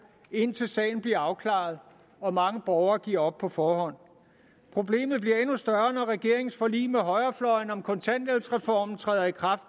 indtil sagen bliver afklaret og mange borgere giver op på forhånd problemet bliver endnu større når regeringens forlig med højrefløjen om kontanthjælpsreformen træder i kraft